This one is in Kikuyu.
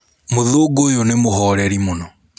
Mũthũngũ ũyũ nĩ mũhoreri mũno.